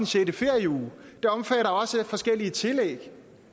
sjette ferieuge og forskellige tillæg